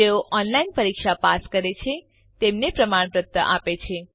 જેઓ ઓનલાઇન પરીક્ષા પાસ કરે છે તેમને પ્રમાણપત્ર આપે છે